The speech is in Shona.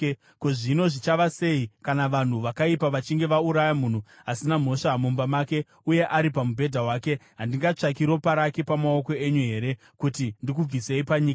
Ko, zvino zvichava sei, kana vanhu vakaipa vachinge vauraya munhu asina mhosva mumba make uye ari pamubhedha wake, handingatsvaki ropa rake pamaoko enyu here, kuti ndikubvisei panyika!”